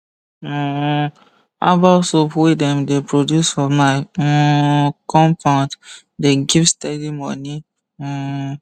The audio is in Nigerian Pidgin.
um herbal soap wey dem de produce for my um compound the give steady moni um